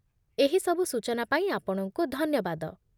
ଏହି ସବୁ ସୂଚନା ପାଇଁ ଆପଣଙ୍କୁ ଧନ୍ୟବାଦ